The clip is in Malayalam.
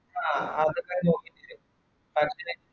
ആഹ് അതേറ്റൻ നോക്കിട്ട് പറ്റില്ലെങ്കിൽ